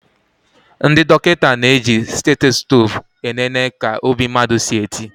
Ndị dọkịta na eji stetoskope e nene ka obi mmadụ si eti